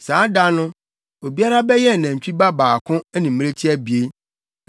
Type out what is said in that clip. Saa da no, obiara bɛyɛn nantwi ba baako ne mmirekyi abien.